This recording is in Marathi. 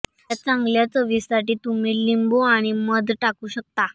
यात चांगल्या चवीसाठी तुम्ही लिंबू आणि मध टाकू शकता